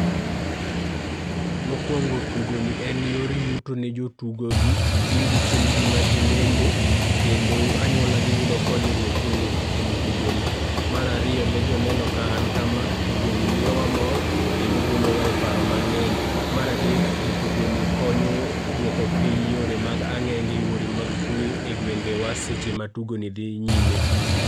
Mokuongo tugoni en yor yuto ne jotugo gi, giyudo chiembgi ma tinende kendo anyuola gi yudo konyruok kuwuok kuom tugoni. Mar ariyo ne joneno ka an kama, tugoni miyowa mor kendo golowa e paro mang'eny. Mar adek kuo tugoni konyo e duoko piny e yore mag ang'enge, yore mag kwe e gwenge wa seche ma tugoni dhi nyime.